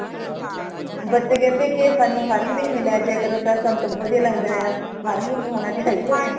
ਬੱਚੇ ਕਹਿੰਦੇ ਕਿ ਸਾਨੂੰ ਹਰ ਮਹੀਨੇ ਲੈ ਜਾਯਾ ਕਰੋ ਸਾਨੂੰ ਤੇ ਬਹੁਤ ਵਦੀਆ ਲਗਦਾ ਹੈ ਹਰ ਮਹੀਨੇ ਹੋਣਾ ਚਾਹੀਦਾ ਹੈ